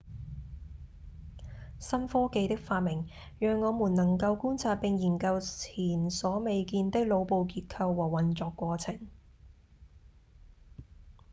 新科技的發明讓我們能夠觀察並研究前所未見的腦部結構和運作過程